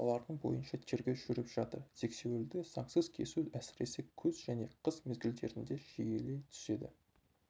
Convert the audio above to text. олардың бойынша тергеу жүріп жатыр сексеуілді заңсыз кесу әсіресе күз және қыс мезгілдерінде жиілей түседі